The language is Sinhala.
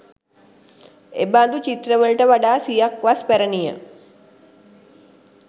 එබඳු චිත්‍රවලට වඩා සියක් වස් පැරණිය.